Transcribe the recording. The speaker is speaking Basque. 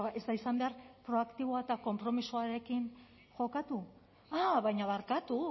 ez da izan behar proaktiboa eta konpromisoarekin jokatu a baina barkatu